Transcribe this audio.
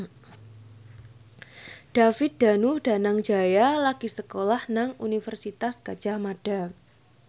David Danu Danangjaya lagi sekolah nang Universitas Gadjah Mada